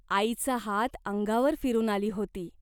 आईचा हात अंगावर फिरून आली होती.